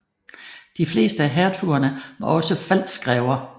De fleste af hertugerne var også pfalzgrever